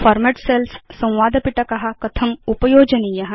format cells संवादपिटक कथम् उपयोजनीय